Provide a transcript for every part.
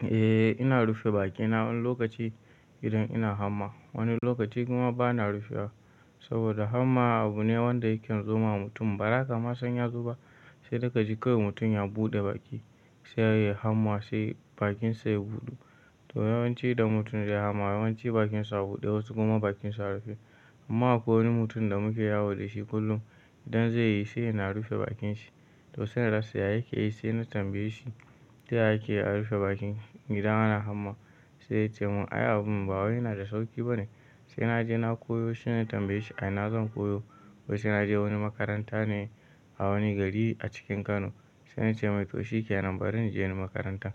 Eh ina rufe bakina wani lokaci idan ina hamma, wani lokaci kuma bana rufe bakina saboda hamma abu ne wanda yake zoma mutum. Baza ka ma san ya zoba sai daka ji kawai mutum ya buɗe baki sai yayi hamma sai bakinsa ya buɗu. To yawanci da mutum ya yi hamma yawanci bakinsa a buɗe wasu kuma bakinsa a rufe. Amma akwai wani mutum da muke yawa da shi kullum idan zai yi shu yana rufe bakinshi. To sai inal rasa ya yake yi, sai na tambaye shi yaya ake a rufe baki idan ana hamma? Sai ya ce mun ai abun ba wai yana da sauki bane. Sai na je na koyo shi ne na tambaye shi a ina zan koyo? Wai sai na je wani makaranta ne a wani gari a cikin Kano. Sai na ce mai to shikenan bari na je ni makarantar.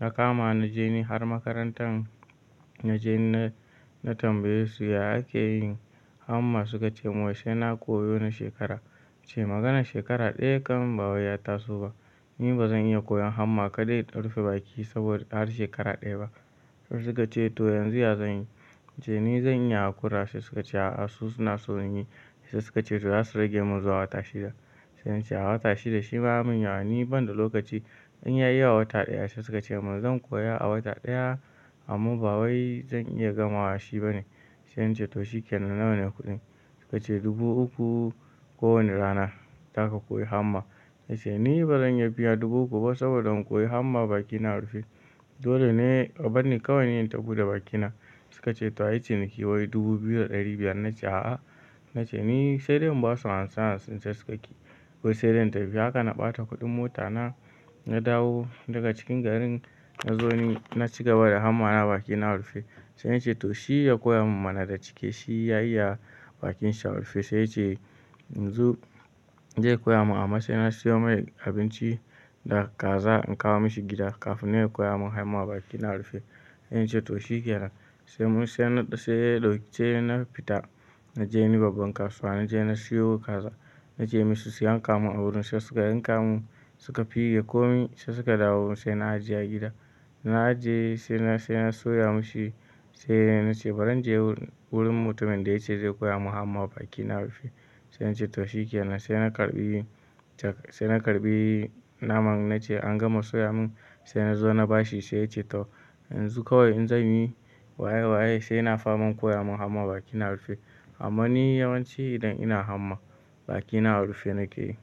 Na kama na je ni har makarantar na je na tambaye su yaya ake yin hamma? Suka ce mun wai sai na koyo na shekara. Ce maganar shekara ɗaya kamar ba wai ya taso ba. Ni ba zan iya koyon hamma kaɗai in rufe baki saboda har shekara ɗaya ba. Sai suka ce to yanzu ya zan yi? Ce ni zan iya haƙura. Sai suka ce a'a su suna so in yi. Sai suka ce to za su rage mun zuwa wata shida. Sai na ce a wata shida shima ya mun yawa ni ban da lokaci in yayi a wata ɗaya. Sai suka ce mun zan koya a wata ɗaya amma ba wai zan iya gamawa shi bane. Sai na ce to shikenan nawa ne kuɗin? Suka ce dubu uku ko wane rana, zaka koyi hamma. Na ce ni ba zan iya biya dubu uku ba saboda in koyi hamma bakina a rufe. Dole ne a bar ni kawai na yi in taɓuda bakina. Suka ce to ai ciniki wai dubu biyu da ɗari biyar. Na ce a'a. Na ce ni sai dai in ba su hamsin hamsin sai suka ka ƙi. Sai dai in tafi haka na ɓata kuɗin mota na, na dawo daga cikin garin na zo ni na cigaba da hamma na baki na a rufe. Sai na ce to shi ya koya mun mana da cike shi ya iya bakinsa a rufe. Sai ya ce yanzu zai koya mun amma sai na siyo mai abinci da kaza in kawo mashi gida kafin ya koya mun hamma baki na a rufe. Na ce to shikenan. Sai mun sai sai ba dau sai na fita na je wani babban kasuwa na je na siyo kaza na ce mai su su yanka mun a wurin. Sai suka yanka mun suka figa ko min sai suka dawo sai na ajiye a gida. Na ajiye sai na sai na soya mishi sai na ce bari in je wurin mutumin da ya ce zai koya mun hamma baki na a rufe. Sai na ce to shikenan. Sai na karɓi sai na karɓi naman na ce an gama soya mun sai na zo na ba shi. Sai ya ce to yanzu kawai in zan yi waye waye sai na fara mun koya mun hamma baki na a rufe. Amma ni yawanci idan ina hamma baki na a rufe nake yi.